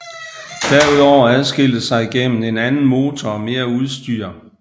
Derudover adskilte sig gennem en anden motor og mere udstyr